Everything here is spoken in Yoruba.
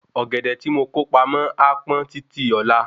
Ọ́gẹ̀dẹ̀ ti mo kó pamó a pọn títí ọ̀la